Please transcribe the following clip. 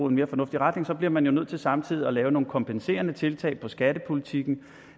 en mere fornuftig retning bliver man nødt til samtidig at lave nogle kompenserende tiltag i skattepolitikken